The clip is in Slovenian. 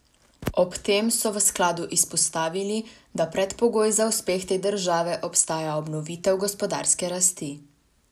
Ob tem so v skladu izpostavili, da predpogoj za uspeh te države ostaja obnovitev gospodarske rasti.